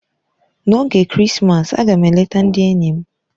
N'oge Krismas, a ga m eleta ndị enyi m.